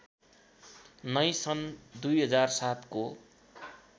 नै सन् २००७ को